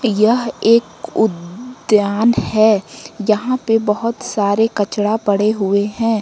यह एक उद्यान है यहां पर बहुत सारे कचरा पड़े हुए हैं।